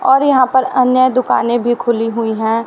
और यहां पर अन्य दुकानें भी खुली हुई है।